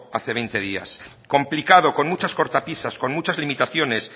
hace veinte días complicado con muchas cortapisas con muchas limitaciones